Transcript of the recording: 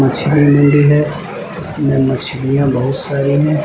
मछली मंडी है में मछलियां बहुत सारी हैं।